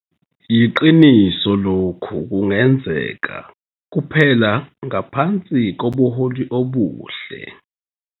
Yiqiniso lokhu kungenzeka kuphela ngaphansi kobuholi obuhle.